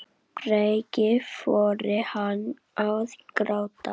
Breki: Fór hann að gráta?